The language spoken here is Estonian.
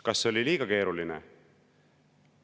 Kas oli liiga keeruline?